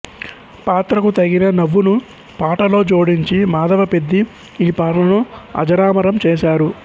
పాత్రకు తగిన నవ్వును పాటలో జోడించి మాధవపెద్ది ఈ పాటను అజరామరం చేశారు